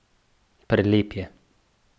Prelep je.